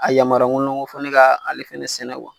A yamaruya ŋɔnɔ n ko fɔ ne ka ale fɛnɛ sɛnɛ